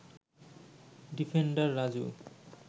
defender Raju